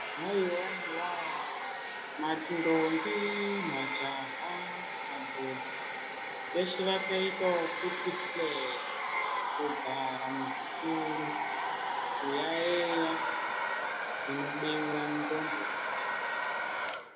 Haiwaiwa, mandombi, majaha, madhodha, veshe vakaita wokuti hlee kugara muzvituru, kuyaiya zvinobeura ndxondo dzavo.